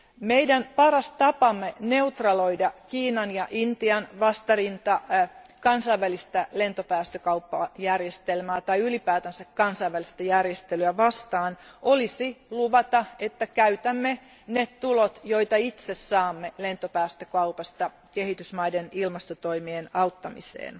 Meidän paras tapamme neutraloida Kiinan ja Intian vastarinta kansainvälistä lentopäästökauppajärjestelmää tai ylipäänsä kansainvälistä järjestelyä vastaan olisi luvata, että käytämme ne tulot, jotka itse saamme lentopäästökaupasta, kehitysmaiden ilmastotoimien auttamiseen.